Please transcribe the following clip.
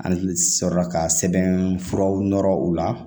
An sɔrɔ la ka sɛbɛnfuraw nɔrɔ u la